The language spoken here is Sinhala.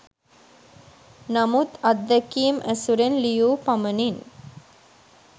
නමුත් අත්දැකීම් ඇසුරෙන් ලියූ පමණින්